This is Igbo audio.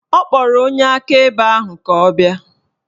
Ọ kpọrọ onye akaebe ahụ ka ọ bịa